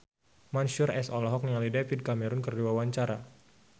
Mansyur S olohok ningali David Cameron keur diwawancara